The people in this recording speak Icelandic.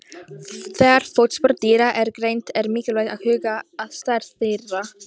Þegar fótspor dýra eru greind er mikilvægt að huga að stærð þeirra.